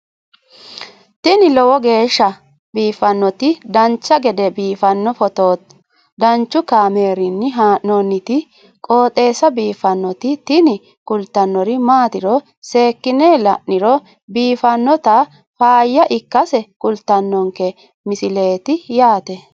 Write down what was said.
tini lowo geeshsha biiffannoti dancha gede biiffanno footo danchu kaameerinni haa'noonniti qooxeessa biiffannoti tini kultannori maatiro seekkine la'niro biiffannota faayya ikkase kultannoke misileeti yaate